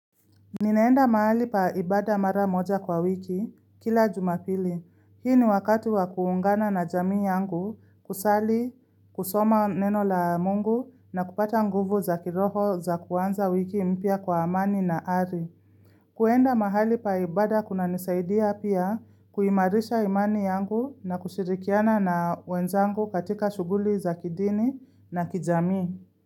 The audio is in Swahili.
Ninaenda mahali paibada mara moja kwa wiki, kila jumapili Hii ni wakati wa kuungana na jamii yangu, kusali, kusoma neno la mungu na kupata nguvu za kiroho za kuanza wiki mpya kwa amani na ari. Kuenda mahali paibada kuna nisaidia pia kuimarisha imani yangu na kushirikiana na wenzangu katika shuguli za kidini na kijamii.